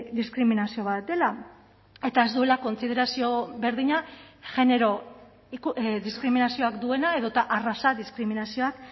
diskriminazio bat dela eta ez duela kontsiderazio berdina genero diskriminazioak duena edota arraza diskriminazioak